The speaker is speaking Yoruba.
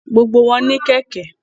Gbogbo wọn ní kẹ̀kẹ́